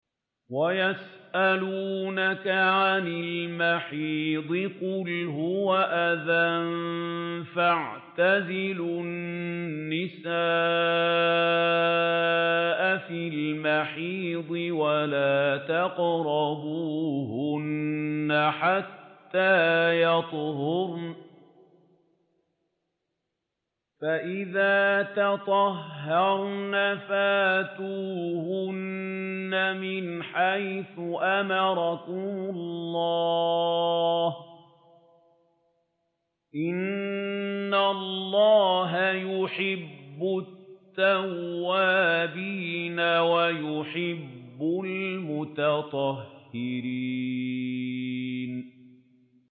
وَيَسْأَلُونَكَ عَنِ الْمَحِيضِ ۖ قُلْ هُوَ أَذًى فَاعْتَزِلُوا النِّسَاءَ فِي الْمَحِيضِ ۖ وَلَا تَقْرَبُوهُنَّ حَتَّىٰ يَطْهُرْنَ ۖ فَإِذَا تَطَهَّرْنَ فَأْتُوهُنَّ مِنْ حَيْثُ أَمَرَكُمُ اللَّهُ ۚ إِنَّ اللَّهَ يُحِبُّ التَّوَّابِينَ وَيُحِبُّ الْمُتَطَهِّرِينَ